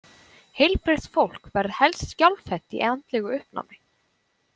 Heilbrigt fólk verður helst skjálfhent í andlegu uppnámi.